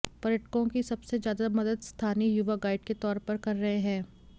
पर्यटकों की सबसे ज्यादा मदद स्थानीय युवा गाइड के तौर पर कर रहे हैं